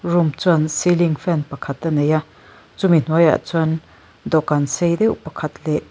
room chuan ceiling fan pakhat a nei a chu mi hnuaiah chuan dawhkan sei deuh pakhat leh--